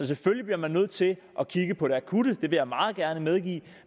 selvfølgelig bliver man nødt til at kigge på det akutte det vil jeg meget gerne medgive